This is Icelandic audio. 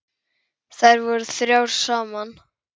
Þær voru þrjár saman.